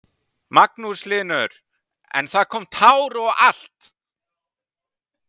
Magnús Hlynur: En það kom tár og allt?